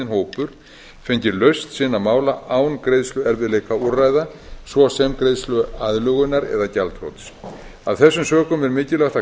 hópur fengið lausn sinna mála án greiðsluerfiðleikaúrræða svo sem greiðsluaðlögunar eða gjaldþrots af þessum sökum er mikilvægt að kanna